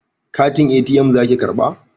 Katin ATM zaki karɓa?